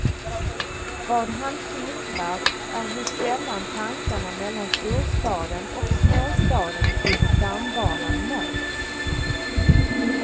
Vad han skildrar är hur sällan tankarna mellan storstaden och småstaden vid stambanan möts.